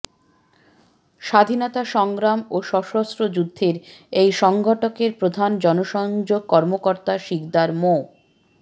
স্বাধীনতা সংগ্রাম ও সশস্ত্র যুদ্ধের এই সংগঠকের প্রধান জনসংযোগ কর্মকর্তা শিকদার মো